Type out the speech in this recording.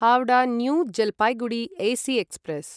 Howrah new Jalpaiguri AC express